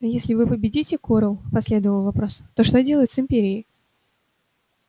а если вы победите корел последовал вопрос то что делать с империей